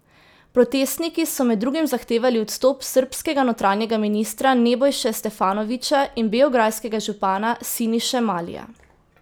Protestniki so med drugim zahtevali odstop srbskega notranjega ministra Nebojše Stefanovića in beograjskega župana Siniše Malija.